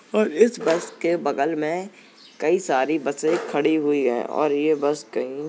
और इस बस के बगल में कई सारी बसें खड़ी हुई हैं और ये बस कहीं --